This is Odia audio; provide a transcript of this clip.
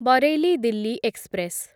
ବରେଲି ଦିଲ୍ଲୀ ଏକ୍ସପ୍ରେସ